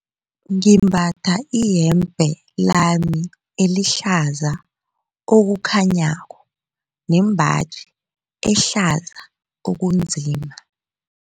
Ngimbatha iyembe lami elihlaza okukhanyako nembaji ehlaza okunzima.